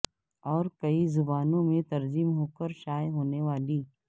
اور کئی زبانوں میں ترجم ہوکر شائع ہونے والی